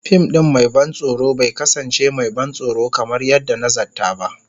Fim ɗin mai ban tsoro bai kasance mai ban tsoro kamar yadda na zata ba.